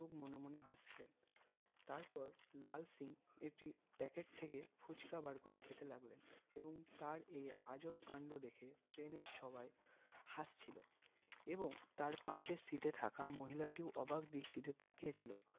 তারপর লাল সিং একটি packet থেকে ফুচকা বার করে খেতে লাগলেন এবং তার এই আজব কান্ড দেখে ট্রেনের সবাই হাসছিলো এবং তার পাশের seat এ থাকা মহিলাটিও অবাক দৃষ্টিতে তাকিয়ে ছিল